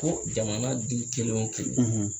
Ko jamana kelen o kelen